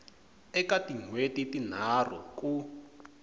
eka tin hweti tinharhu ku